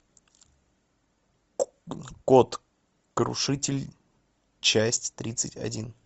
код крушитель часть тридцать один